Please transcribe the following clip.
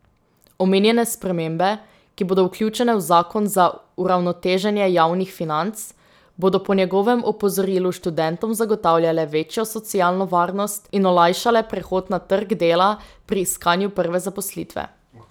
Omenjene spremembe, ki bodo vključene v zakon za uravnoteženje javnih financ, bodo po njegovem opozorilu študentom zagotavljale večjo socialno varnost in olajšale prehod na trg dela pri iskanju prve zaposlitve.